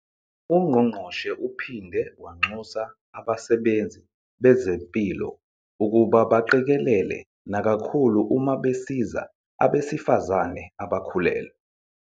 UNgqongqoshe uphinde wanxusa abasebenzi bezempilo ukuba baqikelele nakakhulu uma besiza abesifazane abakhulelwe.